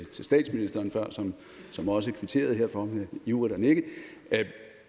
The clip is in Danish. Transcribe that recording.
til statsministeren før som som også kvitterede herfor ved ivrigt at nikke at